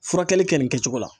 Furakɛli kɛ nin kɛcogo la.